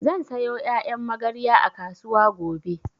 Zan sayo ƴaƴan magarya a kasuwa gobe